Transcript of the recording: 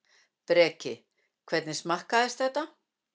Breki: Hvernig smakkaðist þetta?